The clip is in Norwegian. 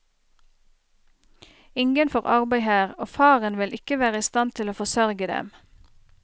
Ingen får arbeid her, og faren vil ikke være i stand til å forsørge dem.